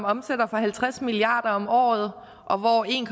omsætter for halvtreds milliarder om året og hvor en